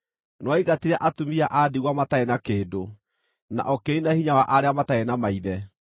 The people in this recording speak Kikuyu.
Nĩwaingatire atumia a ndigwa matarĩ na kĩndũ, na ũkĩniina hinya wa arĩa matarĩ na maithe.